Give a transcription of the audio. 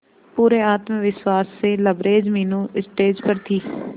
पूरे आत्मविश्वास से लबरेज मीनू स्टेज पर थी